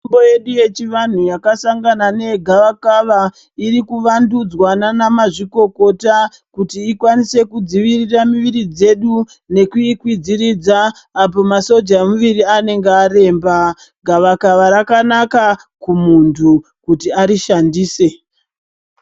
Mitombo yedu yechivantu yakasangana negavakava irikuvandudzwa ndiana mazvikokota ikwanise kudzivirira miviri dzedu nekuikwidziridza apo masoja emuviri anenge aremba, gavakava rakanaka kumuntu kuti arishandise.